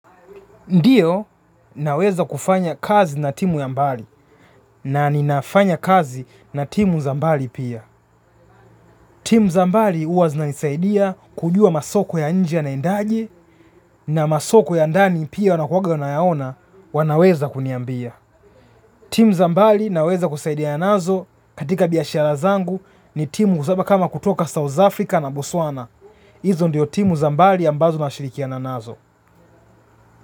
Ndiyo naweza kufanya kazi na timu ya mbali na ninafanya kazi na timu za mbali pia. Timu za mbali hua zina nisaidia kujua masoko ya nje yanaendaje na masoko ya ndani pia wanakuaga wanayaona pia wanaweza kuniambia. Timu za mbali naweza kusaidiana nazo katika biashara zangu ni timu kusaba kama kutoka South Africa na Botswana. Izo ndio timu za mbali ambazo na shirikiana nazo.